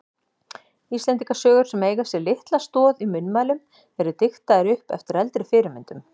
Íslendingasögur sem eiga sér litla stoð í munnmælum eru diktaðar upp eftir eldri fyrirmyndum.